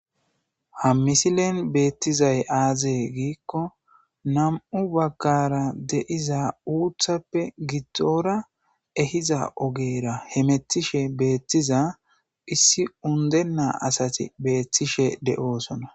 ha misilen beettizay aazee giikko nam'u baggara de'iza uuthappe giddoora ehiza ogeera hemettishe beettiza issi undena asati beethtishe de'oosona